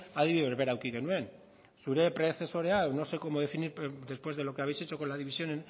adibide berbera eduki genuen zure predezesorea no sé cómo definir después de lo que habéis hecho con la división